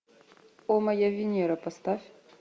о моя венера поставь